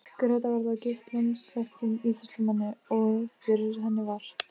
Gréta var þó gift landsþekktum íþróttamanni, og fyrir henni var